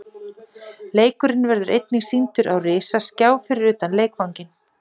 Leikurinn verður einnig sýndur á risaskjá fyrir utan leikvanginn.